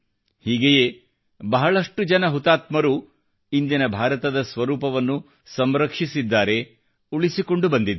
ಹೀಗೆಯೇ ಬಹಳಷ್ಟು ಜನ ಹುತಾತ್ಮರು ಇಂದಿನ ಭಾರತದ ಸ್ವರೂಪವನ್ನು ಸಂರಕ್ಷಿಸಿದ್ದಾರೆ ಮತ್ತು ಉಳಿಸಿಕೊಂಡು ಬಂದಿದ್ದಾರೆ